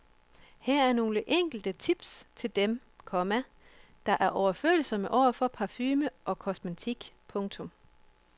Her er nogle enkle tips til dem, komma der er overfølsomme over for parfume og kosmetik. punktum